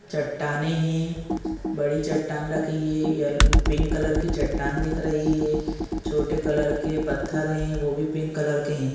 --चट्टानें है बड़ी चट्टान रखी है पिंक कलर की चट्टान दिख रही है छोटे कलर के पत्थर है वो भी पिंक कलर के है।